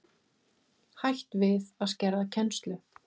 Hætt við að skerða kennslu